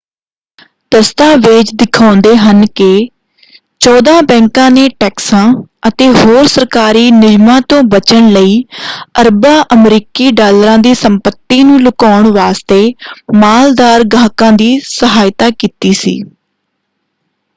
ਦਸਤਾਵੇਜ਼ ਦਿਖਾਉਂਦੇ ਹਨ ਕਿ ਚੌਦਾਂ ਬੈਂਕਾਂ ਨੇ ਟੈਕਸਾਂ ਅਤੇ ਹੋਰ ਸਰਕਾਰੀ ਨਿਯਮਾਂ ਤੋਂ ਬਚਣ ਲਈ ਅਰਬਾਂ ਅਮਰੀਕੀ ਡਾਲਰਾਂ ਦੀ ਸੰਪਤੀ ਨੂੰ ਲੁਕਾਉਣ ਵਾਸਤੇ ਮਾਲਦਾਰ ਗਾਹਕਾਂ ਦੀ ਸਹਾਇਤਾ ਕੀਤੀ ਸੀ।